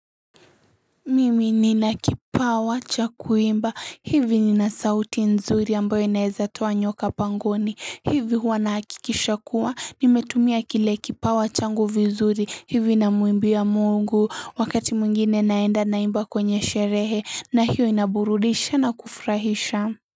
Mimi nina kipawa cha kuimba hivi nina sauti nzuri ambayo inaeza tuwa nyoka pangoni hivi wanaakikisha kuwa nimetumia kile kipawa changu vizuri hivi na muimbia mungu wakati mwingine naenda naimba kwenye sherehe na hiyo inaburudisha na kufrahisha.